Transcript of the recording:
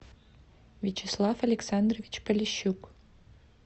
вячеслав александрович полищук